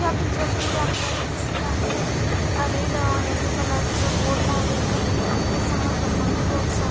या पिक्चर्स मध्ये आपल्याला दिसत आहे की रेड अ यल्लो कलर च बोर्ड लावलेला आहे अन त्या समोर लोखंडी बोर्डस आ--